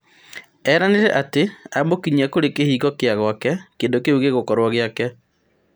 Eranĩre atĩ amũkinyia kũrĩ kĩhingo kĩa gwake kĩndũ kĩu gĩgũkorwo giake.